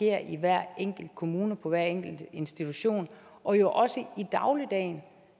er i hver enkelt kommune på hver enkelt institution og jo også i dagligdagen